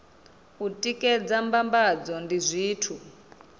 u tikedza mbambadzo ndi zwithu